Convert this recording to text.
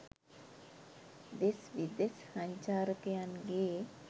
දෙස් විදෙස් සංචාරකයන් ගේ